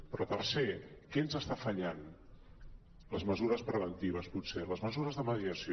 però tercer què ens està fallant les mesures preventives potser les mesures de mediació